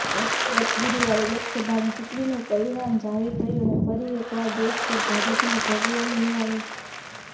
ગત ગુરુવારે લોકસભાની ચૂંટણીનું પરિણામ જાહેર થયું અને ફરી એકવાર દેશ પર ભાજપનો ભગવો લહેરાયો